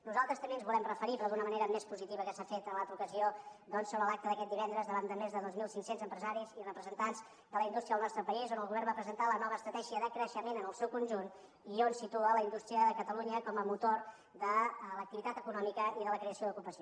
nosaltres també ens volem referir però d’una manera més positiva del que s’ha fet en l’altra ocasió doncs a l’acte d’aquest divendres davant de més de dos mil cinc cents empresaris i representants de la indústria del nostre país on el govern va presentar la nova estratègia de creixement en el seu conjunt i on situa la indústria de catalunya com a motor de l’activitat econòmica i de la creació d’ocupació